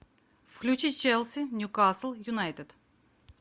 включи челси ньюкасл юнайтед